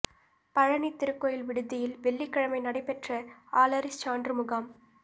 பழனி திருக்கோயில் விடுதியில் வெள்ளிக்கிழமை நடைபெற்ற ஆளறிச் சான்று முகாம்